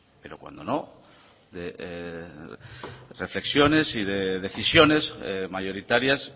pero cuando no de reflexiones y de decisiones mayoritarias